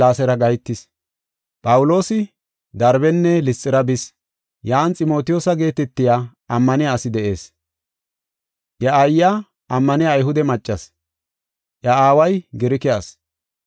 Phawuloosi Darbenne Lisxira bis. Yan Ximotiyoosa geetetiya ammaniya asi de7ees. Iya aayiya ammaniya Ayhude maccasi, iya aaway Girike asi.